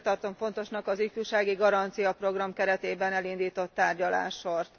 Ezért tartom fontosnak az ifjúsági garancia program keretében elindított tárgyalássort.